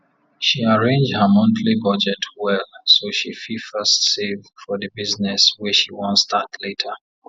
she arrange her monthly budget well so she fit first save for the business wey she wan start later